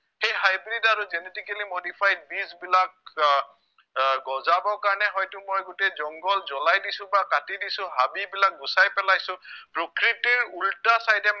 সেই hybrid আৰু genetically modified বীজবিলাক আহ আহ গজাব কাৰণে হয়তো মই গোটেই jungle জ্ৱলাই দিছো বা কাটি দিছো হাবি বিলাক গোচাই পেলাইছো প্ৰকৃতিৰ উলটা side এ